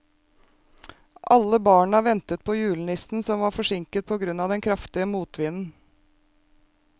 Alle barna ventet på julenissen, som var forsinket på grunn av den kraftige motvinden.